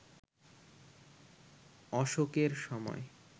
অশোকের সময়